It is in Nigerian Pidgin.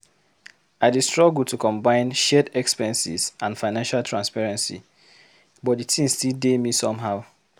I dey struggle to combine shared expenses and financial transparency. But di thing still dey me somehow.